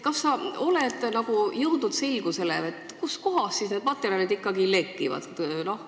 Kas sa oled jõudnud selgusele, kust kohast need materjalid ikkagi lekivad?